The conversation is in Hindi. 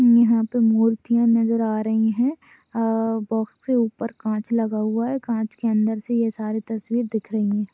और यहा पे मुर्तीया नजर आ रही है अह बॉक्स के उपर काँच लगा हुआ हैं। काँच के अंदर से ये सारे तस्वीर दिख रही है।--